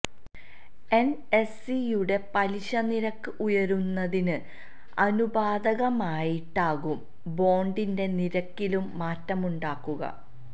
NS സിയുടെ പലിശ നിരക്ക് ഉയരുന്നതിന് ആനുപാതികമായിട്ടാകും ബോണ്ടിന്റെ നിരക്കിലും മാറ്റമുണ്ടാകുക